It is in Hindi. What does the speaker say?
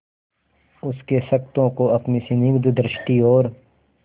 उसके क्षतों को अपनी स्निग्ध दृष्टि और